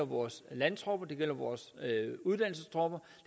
vores landtropper og vores uddannelsestropper